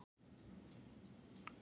Þeir voru á leið frá